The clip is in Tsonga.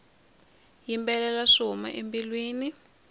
yimbelela swi huma embilwini